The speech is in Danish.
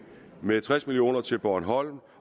med tres million kroner til bornholm